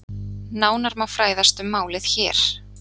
Nánar má fræðast um málið hér